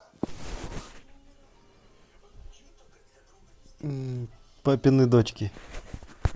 папины дочки